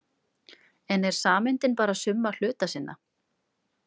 En er sameindin bara summa hluta sinna?